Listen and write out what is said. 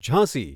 Jhansi